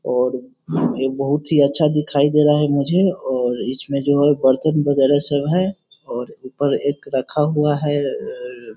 और ये बोहोत ही अच्छा दिखाई दे रहा है मुझे और इसमें जो है बरतन वगेरा सब है और उपर एक रखा हुआ हैआ अ --